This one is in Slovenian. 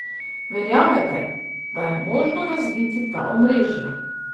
Verjamete, da je možno razbiti ta omrežja?